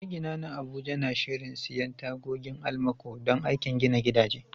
Magina na Abuja na shirin siyan tagogin almaco don aikin gina gidaje.